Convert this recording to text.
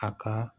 A ka